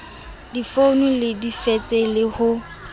difounu le difekse le ho